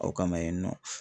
Aw kama yen nɔ